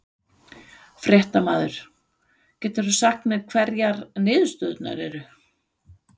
Fréttamaður: Getur þú sagt mér hverjar niðurstöðurnar eru?